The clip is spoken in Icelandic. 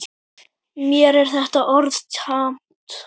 Mér er þetta orð tamt.